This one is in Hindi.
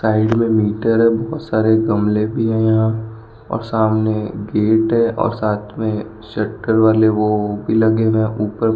साइड में मीटर है बहुत सारे गमले भी हैं यहां और सामने गेट है और साथ में सेक्टर वाले वो भी लगे हुए हैं ऊपर --